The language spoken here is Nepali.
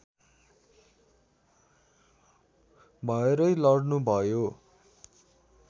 भएरै लड्नुभयो